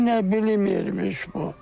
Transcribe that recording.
Heç nə bilmirmiş bu.